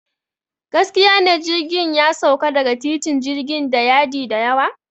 Gaskiya ne, jirgin ya sauka daga titin jirgin da yadi da yawa.